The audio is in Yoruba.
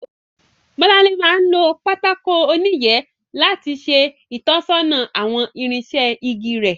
Bọ́láńlé máa ń lo pátákó oníyẹ̀ẹ́ láti ṣe ìtọ́sọ́nà àwọn irinṣẹ́ igi rẹ̀